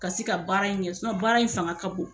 Ka se ka baara in kɛ sinɔn baara in fanga ka bon